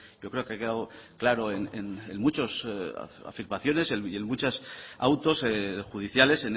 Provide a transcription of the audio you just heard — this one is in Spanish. yo creo que ha quedado claro en muchas afirmaciones y en muchos autos judiciales